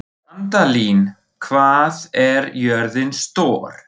Randalín, hvað er jörðin stór?